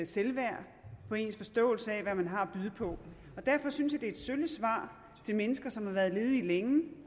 selvværd på ens forståelse af hvad man har at byde på og derfor synes et sølle svar til mennesker som har været ledige længe